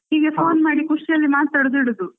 ಹೀಗೆ phone ಮಾಡಿ ಖುಷಿಯಲ್ಲಿ ಮಾತಾಡೋದು ಇಡುದು.